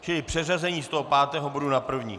Čili přeřazení z toho pátého bodu na první.